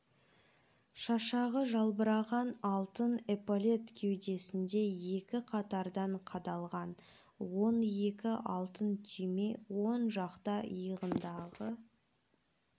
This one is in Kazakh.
шашағы жалбыраған алтын эполет кеудесінде екі қатардан қадалған он екі алтын түйме оң жақ иығындағы